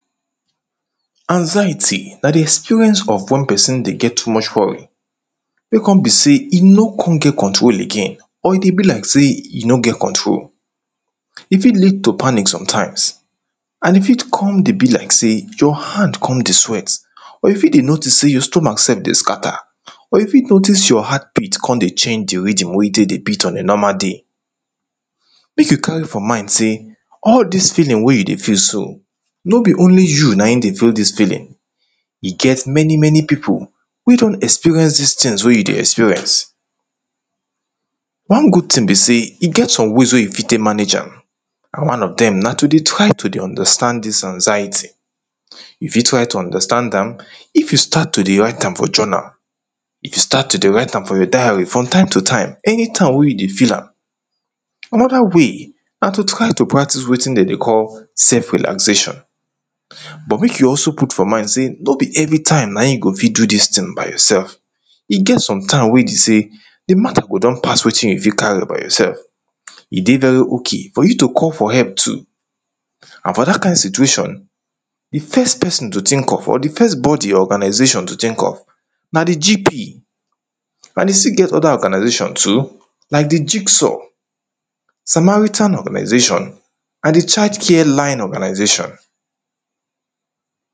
Anxiety na di experience of wen pesin dey get too much worry wey kon be sey e no kon get control again or e dey be like sey e no get control, e fit lead to panic sometimes and e fit kon dey be like sey your hand kon dey sweat or you fit dey notice sey your stomach sef dey scatter or fit notice sey your heart beat kon change di rhythm wey e take dey beat on a normal day, make you carry for mind sey all dis feeling wey you dey feel so no be only you naim dey feel dis feeling e get many many pipu wey don experience dis tins wey you dey experience. One good tin be sey e get some ways wey you fit manage am and one of dem na to dey try to dey understand dis anxiety, you fit try to dey understand am if you try to dey write am for journal, you fit start to dey write am for your diary from time to time any time wey you dey feel am, another way na to try dey practice wetin dem dey call sef relaxation but make you also put for mind sey no be every time naim you go fit do dis tin by yoursef e get some time wey be sey di matter go don pass wetin you fit carry by yoursef, e dey very okay for you to call for help too and for dat kind situation di first pesin to tink of or di first body or organisation to tink of na di gp and e still get other organisation too like di giksaw samaritan organisation and di child care line organisation.